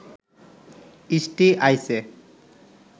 ইষ্টি আইছে